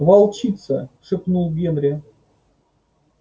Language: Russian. волчица шепнул генри